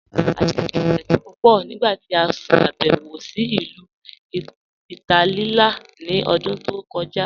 A jẹ̀ spagẹttì pupọ nigbati a ṣàbẹwo sí Ilu Ìtálìà ní òdún tó kọja.